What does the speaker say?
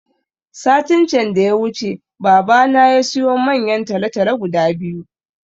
Satin can da ya wuce baba na yasiyo manyan talatalo guda biyu